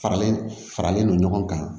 Faralen faralen no ɲɔgɔn kan